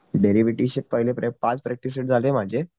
derivative चे पहिले पाच प्रॅक्टिस सेट झाले माझे